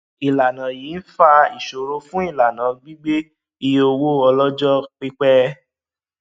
ìlànà yìí ń fa ìṣòro fún ìlànà gbígbé iye owó ọlọjọ pípẹ